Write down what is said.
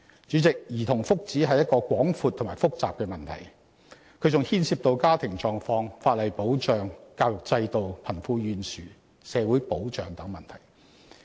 主席，兒童福祉是一個廣闊及複雜的問題，更牽涉到家庭狀況、法例保障、教育制度、貧富懸殊、社會保障等問題。